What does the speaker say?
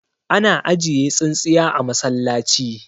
ana ajiye tsintsiya a masallaci